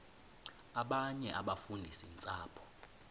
abanye abafundisi ntshapo